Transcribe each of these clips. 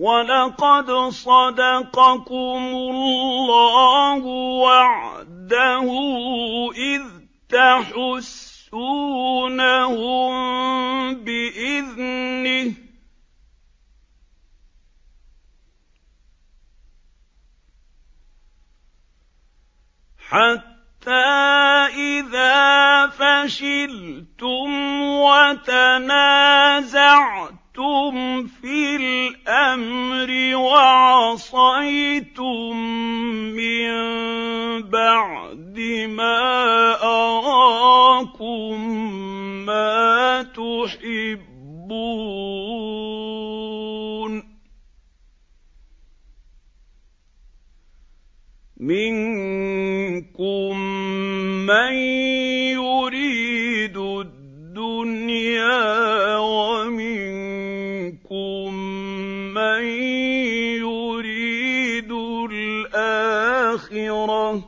وَلَقَدْ صَدَقَكُمُ اللَّهُ وَعْدَهُ إِذْ تَحُسُّونَهُم بِإِذْنِهِ ۖ حَتَّىٰ إِذَا فَشِلْتُمْ وَتَنَازَعْتُمْ فِي الْأَمْرِ وَعَصَيْتُم مِّن بَعْدِ مَا أَرَاكُم مَّا تُحِبُّونَ ۚ مِنكُم مَّن يُرِيدُ الدُّنْيَا وَمِنكُم مَّن يُرِيدُ الْآخِرَةَ ۚ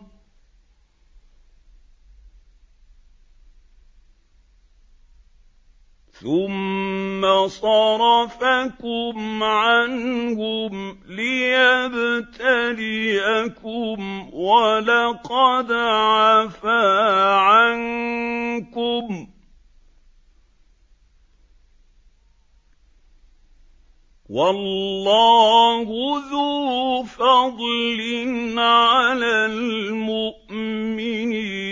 ثُمَّ صَرَفَكُمْ عَنْهُمْ لِيَبْتَلِيَكُمْ ۖ وَلَقَدْ عَفَا عَنكُمْ ۗ وَاللَّهُ ذُو فَضْلٍ عَلَى الْمُؤْمِنِينَ